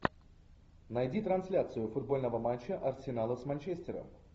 найди трансляцию футбольного матча арсенала с манчестером